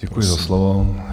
Děkuji za slovo.